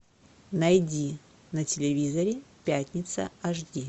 найди на телевизоре пятница аш ди